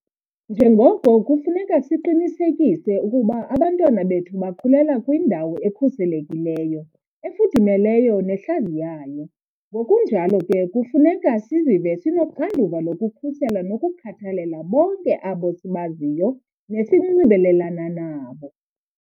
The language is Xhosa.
Njengoko kufuneka siqinisekise ukuba abantwana bethu bakhulela kwindawo ekhuselekileyo, efudumeleyo nehlaziyayo, ngokunjalo ke kufuneka sizive sinoxanduva lokukhusela nokukhathalela bonke abo sibaziyo nesinxibelelana nabo.